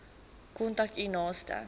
kontak u naaste